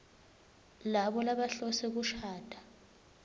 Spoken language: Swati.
labo labahlose kushada